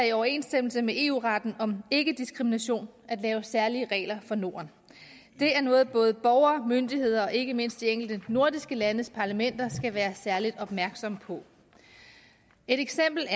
i overensstemmelse med eu retten om ikkediskrimination at lave særlige regler for norden det er noget som både borgere og myndigheder og ikke mindst de enkelte nordiske landes parlamenter skal være særlig opmærksomme på et eksempel